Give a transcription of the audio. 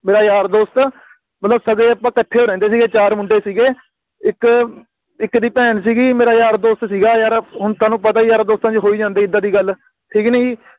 ਮੇਰਾ ਯਾਰ ਦੋਸਤ ਮਤਲਬ ਕਦੇ ਅੱਪਾ ਇਕੱਠੇ ਰਹਿੰਦੇ ਸੀਗੇ ਚਾਰ ਮੁੰਡੇ ਸੀਗੇ ਇਕ ਇਕ ਦੀ ਭੈਣ ਸੀਗੀ ਮੇਰਾ ਯਾਰ ਦੋਸਤ ਸੀਗਾ ਯਾਰ ਹੁਣ ਤੁਹਾਨੂੰ ਪਤਾ ਹੈ ਆ ਯਾਰਾ ਦੋਸਤਾਂ ਚ ਹੋ ਹੀ ਜਾਂਦਾ ਏਦਾਂ ਦੀ ਗੱਲ ਠੀਕ ਨੀ ਗੀ